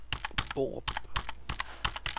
Borup